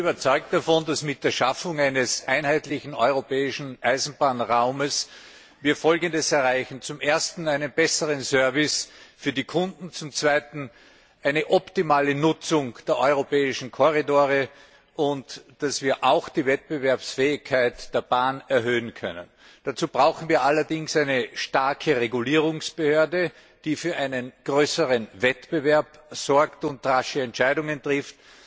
Ich bin davon überzeugt, dass wir mit der Schaffung eines einheitlichen europäischen Eisenbahnraums Folgendes erreichen zum Ersten einen besseren Service für die Kunden, zum Zweiten eine optimale Nutzung der europäischen Korridore, aber auch eine Erhöhung der Wettbewerbsfähigkeit der Bahn. Dazu brauchen wir allerdings eine starke Regulierungsbehörde, die für einen größeren Wettbewerb sorgt und rasche Entscheidungen trifft.